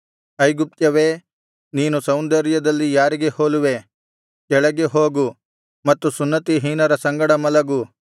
ಐಗುಪ್ತ್ಯವೇ ನೀನು ಸೌಂದರ್ಯದಲ್ಲಿ ಯಾರಿಗೆ ಹೋಲುವೆ ಕೆಳಗೆ ಹೋಗು ಮತ್ತು ಸುನ್ನತಿಹೀನರ ಸಂಗಡ ಮಲಗು